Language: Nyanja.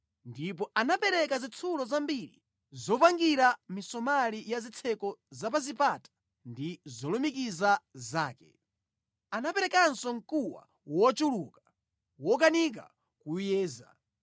Ndipo anapereka zitsulo zambiri zopangira misomali ya zitseko za pa zipata ndi zolumikiza zake. Anaperekanso mkuwa wochuluka wokanika kuwuyeza.